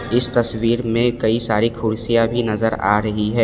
इस तस्वीर में कई सारी कुर्सियां भी नजर आ रही है।